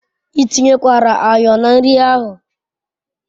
I tinyekwara ayo na nri ahu